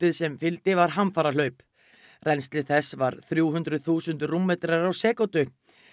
sem fylgdi var hamfarahlaup rennsli þess var þrjú hundruð þúsund rúmmetrar á sekúndu